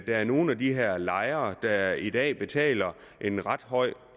er nogle af de her lejere der i dag betaler en ret høj